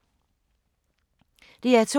DR2